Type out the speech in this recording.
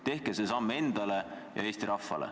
Tehke see samm enda ja Eesti rahva heaks.